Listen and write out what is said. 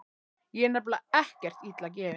Ég er nefnilega ekkert illa gefinn.